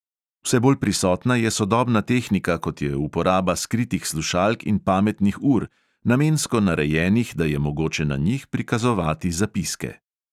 Vse bolj prisotna je sodobna tehnika, kot je uporaba skritih slušalk in pametnih ur, namensko narejenih, da je mogoče na njih prikazovati zapiske.